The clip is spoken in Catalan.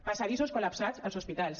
passadissos col·lapsats als hospitals